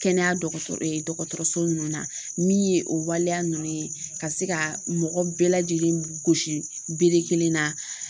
Kɛnɛya dɔgɔtɔrɔ dɔgɔtɔrɔso ninnu na , min ye o waleya ninnu ye ka se ka mɔgɔ bɛɛ lajɛlen gosi bere kelen na